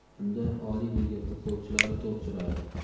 Unda Oliy Liga futbolchilari to‘p suradi.